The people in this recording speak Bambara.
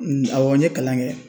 N awɔ n ye kalan kɛ